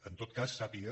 en tot cas sàpiga